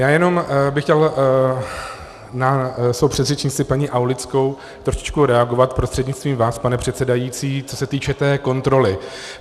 Já jenom bych chtěl na svou předřečnici paní Aulickou trošičku reagovat prostřednictvím vás, pane předsedající, co se týče té kontroly.